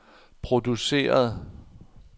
produceret